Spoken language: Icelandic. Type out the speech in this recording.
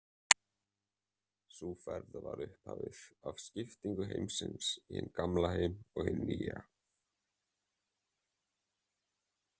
Sú ferð var upphafið af skiptingu heimsins í hinn gamla heim og hinn nýja.